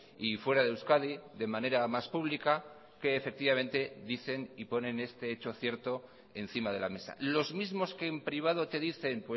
y fuera de euskadi de manera más pública que efectivamente dicen y ponen este hecho cierto encima de la mesa los mismos que en privado te dicen